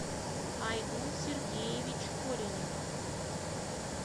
айгун сергеевич коренев